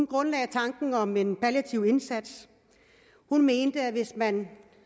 grundlagde tanken om en palliativ indsats hun mente at hvis man